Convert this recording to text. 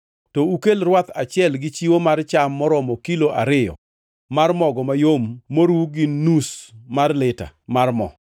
to ukel rwath kaachiel gi chiwo mar cham maromo kilo ariyo mar mogo mayom moru gi nus mar lita mar mo.